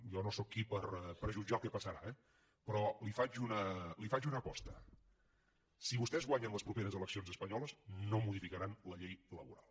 jo no sóc qui per jutjar el que passarà eh però li faig una aposta si vostès guanyen les properes eleccions espanyoles no modificaran la llei laboral